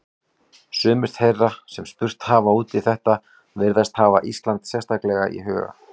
Sumir þeirra sem spurt hafa út í þetta virðast hafa Ísland sérstaklega í huga.